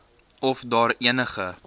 of daar enige